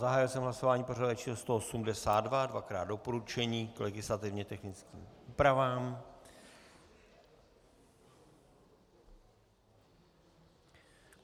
Zahájil jsem hlasování pořadové číslo 182, dvakrát doporučení k legislativně technickým úpravám.